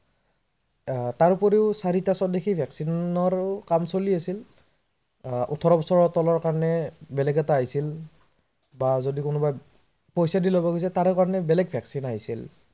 আহ তাৰোপৰি চাৰিটা স্বদেশী vaccine ৰ কাম চলি আছিল, আহ ওঠৰ বছৰ তলৰ কাৰনে বেলেগ এটা আহিছিল বা যদি কোনোবাই পইছা দি লব বিচাৰিছিল তাৰ কাৰনেও বেলেগ vaccine আহিছিল